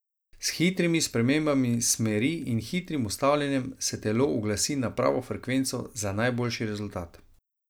S hitrimi spremembami smeri in hitrim ustavljanjem se telo uglasi na pravo frekvenco za najboljši rezultat.